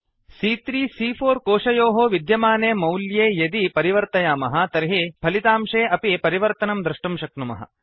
सी॰॰3 सी॰॰4 कोशयोः विद्यमाने मौल्ये यदि परिवर्तयामः तर्हि फलितांशे अपि परिवर्तनं द्रष्टुं शक्नुमः